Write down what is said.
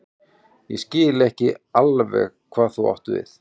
Ég skil ekki alveg hvað þú átt við.